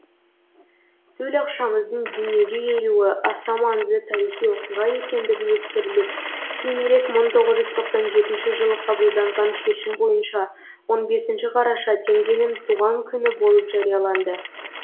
төл ақшамыздың дуниеге келуі аса маңызды тарихи окиға екендігі ескеріліп кейінірек мың тоғыз жүз тоқсан жетінші жылы қабылданған шешім бойынша он бесінші қараша теңгенің түған күні болып жарияланды